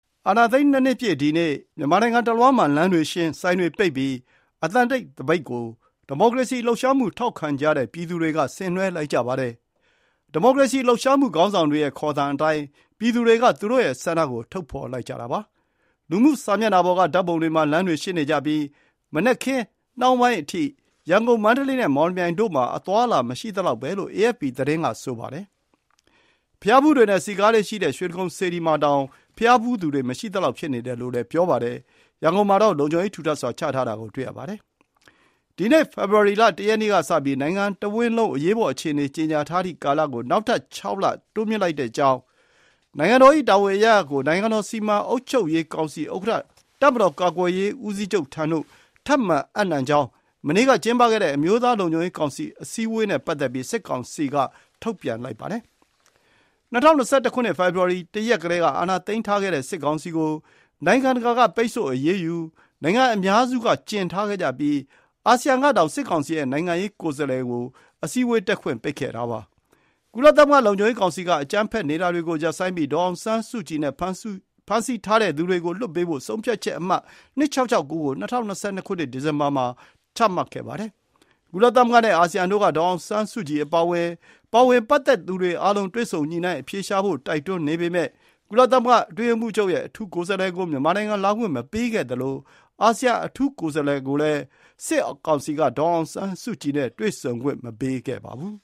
အာဏာသိမ်း ၂ နှစ်ပြည့် ဒီနေ့၊ မြန်မာနိုင်ငံ တလွှားမှာ လမ်းတွေရှင်း၊ ဆိုင်တွေ ပိတ်ပြီး အသံတိတ် သပိတ်ကို ဒီမိုကရေစီ လှုပ်ရှားမှု ထောက်ခံကြတဲ့ ပြည်သူတွေ က ဆင်နွှဲလိုက်ကြပါတယ်။ ဒီမိုကရေစီ လှုပ်ရှားမှု ခေါင်းဆောင်တွေရဲ့ ခေါ်သံအတိုင်း ပြည်သူတွေက သူတို့ရဲ့ ဆန္ဒ ကို ထုတ်ဖော်လိုက်ကြတာပါ။ လူမှု စာမျက်နှာပေါ်က ဓာတ်ပုံတွေမှာ လမ်းတွေရှင်းနေကြပြီး၊ မနက်ခင်း နှောင်းပိုင်းအထိ ရန်ကုန်၊ မန္တလေး နဲ့ မော်လမြိုင်တို့ မှာ အသွားအလာ မရှိသလောက်ပဲ လို့ အေအက်ဖ်ပီ သတင်း က ဆိုပါတယ်။ ဘုရားဖူးတွေနဲ့ စည်ကားလေ့ရှိတဲ့ ရွှေတိဂုံစေတီမှာ ဘုရားဖူးသူတွေ မရှိသလောက် ဖြစ်နေတယ်လို့ ဆိုပါတယ်။ ရန်ကုန်မှာတော့ လုံခြုံရေး ထူထပ်စွာချထားတာကို တွေ့ရပါတယ်။ ဒီနေ့ ဖေဖော်ဝါရီလ ၁ ရက်နေ့ က စပြီး “နိုင်ငံတော်တဝန်းလုံး အရေးပေါ် အခြေအနေ ကြေငြာထားသည့် ကာလ” ကို “နောက်ထပ် ၆ လ တိုးမြှင့် သတ်မှတ်ကြောင်း”၊ “နိုင်ငံတော် ၏ တာဝန်အရပ်ရပ် ကို နိုင်ငံတော် စီမံအုပ်ချုပ်ရေးကောင်စီ ဥက္ကဋ္ဌတပ်မတော် ကာကွယ်ရေး ဦးစီးချုပ်ထံသို့ ထပ်မံ အပ်နှံကြောင်း” မနေ့က ကျင်းပခဲ့တဲ့ အမျိုးသားလုံခြုံရေးကောင်စီအစည်းအဝေးနဲ့ ပတ်သက်ပြီး စစ်ကောင်စီက ထုတ်ပြန်ပါတယ်။ ၂၀၂၁ ဖေဖော်ဝါရီ ၁ ရက်ကတည်း က အာဏာသိမ်းထားခဲ့တဲ့ စစ်ကောင်စီ ကို နိုင်ငံတကာက ပိတ်ဆို့ အရေးယူ၊ နိုင်ငံအများစုက ကျဉ်ထားခဲ့ကြပြီး၊ အာဆီယံကတောင် စစ်ကောင်စီရဲ့ နိုင်ငံရေးကိုယ်စားလှယ်ကို အစည်းအဝေး တက်ခွင့်ပိတ်ခဲ့ပါတယ်။ ကုလသမဂ္ဂ လုံခြုံရေး ကောင်စီ က အကြမ်းဖက်နေတာတွေကို ရပ်ဆိုင်းပြီး ဒေါ်အောင်ဆန်းစုကြည်နဲ့ ဖမ်းဆီးထားသူတွေကို လွှတ်ပေးဖို့ ဆုံးဖြတ်ချက် အမှတ် ၂၆၆၉ ကို ၂၀၂၂ ခုနှစ် ဒီဇင်ဘာလမှာ ချမှတ်ခဲ့ပါတယ်။ ကုလသမဂ္ဂ နဲ့ အာဆီယံတို့က ဒေါ်အောင်ဆန်းစုကြည် အပါအဝင် ပါဝင်ပတ်သက်သူတွေ အားလုံးတွေ့ဆုံညှိုနှိုင်း အဖြေရှာဖို့ တိုက်တွန်းပေမဲ့၊ ကုလသမဂ္ဂ အတွင်းရေးမှူးချုပ်ရဲ့ အထူးကိုယ်စားလှယ်ကို မြန်မာနိုင်ငံ လာခွင့်မပေးခဲ့သလို၊ အာဆီယံ အထူးကိုယ်စားလှယ်ကိုလည်း ဒေါ်အောင်ဆန်းစုကြည်နဲ့ တွေ့ဆုံခွင့် မပေးခဲ့ပါဘူး